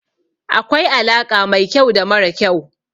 Akwai alaƙa mai kyau da mara kyau.